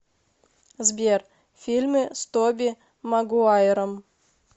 сбер фильмы с тоби магуайром